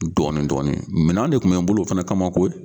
Dɔɔni dɔɔni minan de kun be n bolo o fana kama koyi